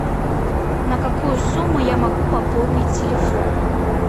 на какую сумму я могу пополнить телефон